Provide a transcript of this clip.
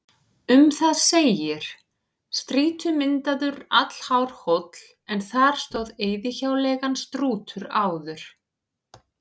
Um það segir: Strýtumyndaður, allhár hóll, en þar stóð eyðihjáleigan Strútur áður.